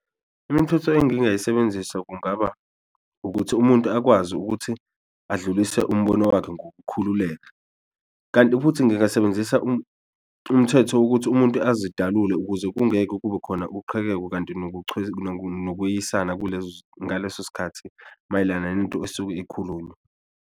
Imithetho engingayisebenzisa kungaba ukuthi umuntu akwazi ukuthi adlulise umbono wakhe ngokukhululeka. Kanti futhi ngingasebenzisa umthetho wokuthi umuntu azidalule ukuze kungeke kube khona uqhekeko, kanti nokweyisana ngaleso sikhathi mayelana nento esuke ikhulunywa.